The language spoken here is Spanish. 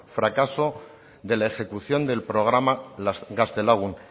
fracaso de la ejecución del programa gaztelagun